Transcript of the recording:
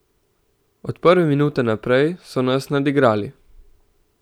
Od prve minute naprej so nas nadigrali.